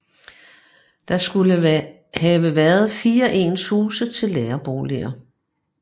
Der skulle have været fire ens huse til lærerboliger